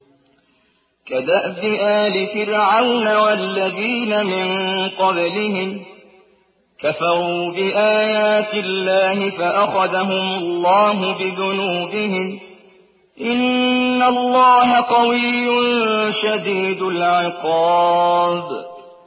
كَدَأْبِ آلِ فِرْعَوْنَ ۙ وَالَّذِينَ مِن قَبْلِهِمْ ۚ كَفَرُوا بِآيَاتِ اللَّهِ فَأَخَذَهُمُ اللَّهُ بِذُنُوبِهِمْ ۗ إِنَّ اللَّهَ قَوِيٌّ شَدِيدُ الْعِقَابِ